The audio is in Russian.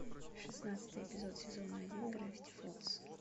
шестнадцатый эпизод сезона один гравити фолз